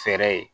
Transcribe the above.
Fɛrɛ ye